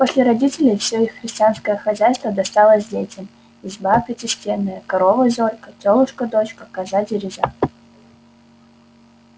после родителей всё их христианское хозяйство досталось детям изба пятистенная корова зорька тёлушка дочка коза дереза